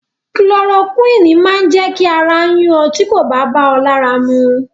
Kulorokúìnì máa jẹ́ kí ara yún ọ tí kò bá bá ọ lára mu.